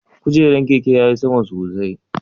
Kujeran keke ya ti sama sosai?